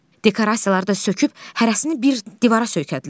Dekorasiyaları da söküb hərəsini bir divara söykədilər.